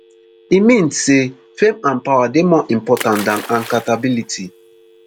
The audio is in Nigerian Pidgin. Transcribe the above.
e mean say fame and power dey more important dan accountability